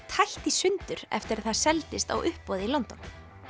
tætt í sundur eftir að það seldist á uppboði í London